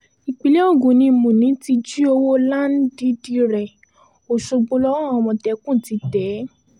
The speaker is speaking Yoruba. ìpínlẹ̀ ogun ni múni ti jí owó láńdìdì rẹ̀ ọ̀ṣọ́gbó lọ́wọ́ àwọn àmọ̀tẹ́kùn ti tẹ̀ é